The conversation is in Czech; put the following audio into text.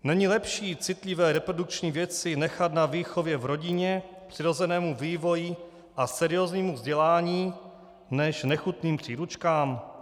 Není lepší citlivé reprodukční věci nechat na výchově v rodině, přirozenému vývoji a serióznímu vzdělání než nechutným příručkám?